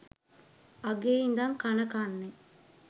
අඟේ ඉඳන් කන කන්නේ